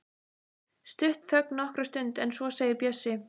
Stutt þögn nokkra stund en svo segir Bjössi: